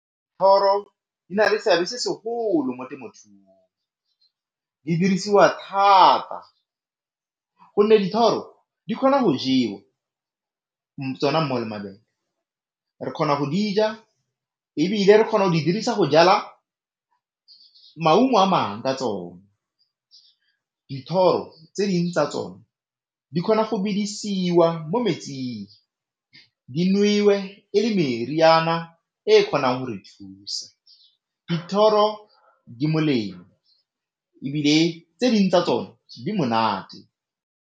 Di na le seabe se segolo mo temothuong, di dirisiwa thata gonne dithoro di kgona go jewa tsona le mabele re kgona go di ja ebile re kgona go di dirisa go jala maungo a mangwe ka tsone. Dithoro tse dingwe tsa tsone di kgona go bedisiwa mo metsing di nowe e le meriana e kgonang go re thusa. Dithoro di molemo ebile tse dingwe tsa tsone di monate.